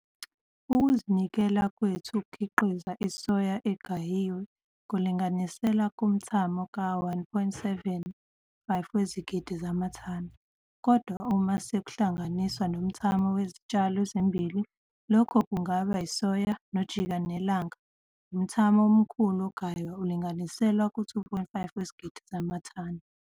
Ukuzinikela kwethu ukukhiqiza isoya egayiwe kulinganiselwa kumthamo ka-1,75 wezigidi zamathani. Kodwa, uma sekuhlanganiswa nomthamo wezitshalo ezimbili lokhu kungaba isoya nojikanelanga, umthamo omkhulu ongaywa ulinganiselwa ku-2,5 wezigidi zamathani.